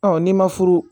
n'i ma furu